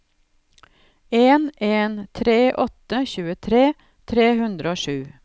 en en tre åtte tjuetre tre hundre og sju